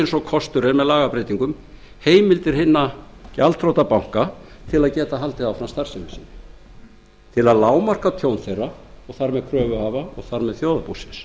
eins og kostur er með lagabreytingum heimildir hinna gjaldþrota banka til að geta haldið starfsemi sinni áfram til að lágmarka tjón þeirra og þar með kröfuhafa og þar með þjóðarbúsins